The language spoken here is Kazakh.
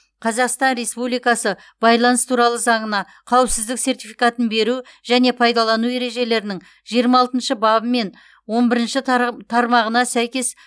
қазақстан республикасы байланыс туралы заңына қауіпсіздік сертификатын беру және пайдалану ережелерінің жиырма алтыншы бабы мен он бірінші тарға тармағына сәйкес